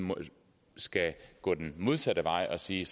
skal gå den modsatte vej og sige